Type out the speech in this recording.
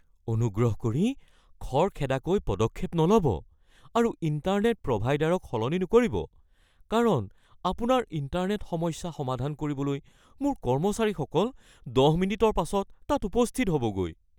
অনুগ্ৰহ কৰি খৰখেদাকৈ পদক্ষেপ নল'ব আৰু ইণ্টাৰনেট প্ৰভাইডাৰক সলনি নকৰিব কাৰণ আপোনাৰ ইণ্টাৰনেট সমস্যা সমাধান কৰিবলৈ মোৰ কৰ্মচাৰীসকল ১০ মিনিটৰ পাছত তাত উপস্থিত হ'বগৈ।